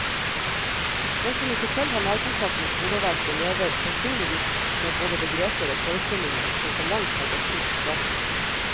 Den som ikke selv har nærkontakt med skoleverket, lever sannsynligvis med både begreper og forestillinger som for lengst har gått ut på dato.